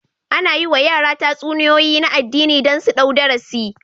Ana yi wa yara tatsuniyoyi na addini don su ɗau darasi